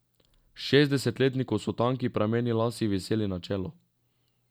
Šestdesetletniku so tanki prameni las viseli na čelo.